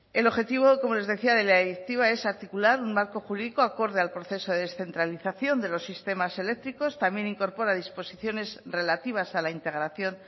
el objetivo como les decía de la directiva es articular un marco jurídico acorde al proceso de descentralización de los sistemas eléctricos también incorpora disposiciones relativas a la integración